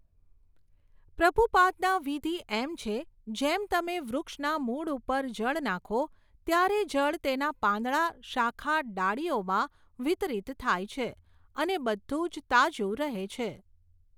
પ્રભુપાદના વિધિ એમ છે જેમ તમે વૃક્ષના મૂળ ઉપર જળ નાખો ત્યારે જળ તેના પાંદડા શાખા ડાળીઓમાં વિતરિત થાય છે અને બધું જ તાજું રહે છે.